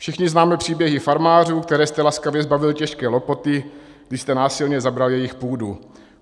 Všichni známe příběhy farmářů, které jste laskavě zbavil těžké lopoty, když jste násilně zabral jejich půdu.